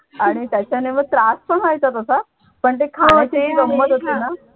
आणि त्याच्याने मग त्रास पण व्हायचा तसा पण ते खाण्याची गंमत असते ना